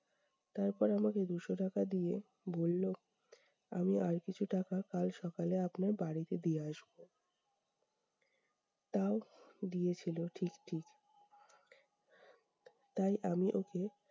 তারপরে আমাকে দুশো টাকা দিয়ে বললো- আমি আর কিছু টাকা কাল সকালে আপনার বাড়িতে দিয়ে আসবো। তাও দিয়েছিলো ঠিক ঠিক। তাই আমি ওকে-